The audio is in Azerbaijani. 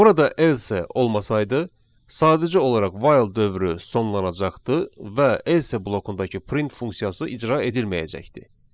Burada else olmasaydı, sadəcə olaraq while dövrü sonlanacaqdı və else blokundakı print funksiyası icra edilməyəcəkdi.